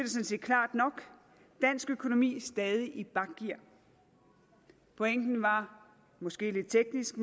set klart nok dansk økonomi stadig i bakgear pointen var måske lidt teknisk